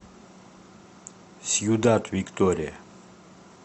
сьюдад виктория